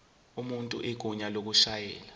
umuntu igunya lokushayela